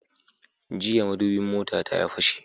Jiya madubin motata ya fashe